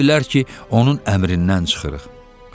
Elə bilər ki, onun əmrindən çıxırıq.